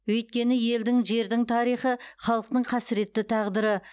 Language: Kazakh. өйткені елдің жердің тарихы халықтың қасіретті тағдыры